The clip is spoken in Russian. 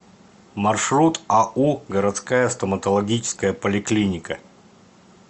маршрут ау городская стоматологическая поликлиника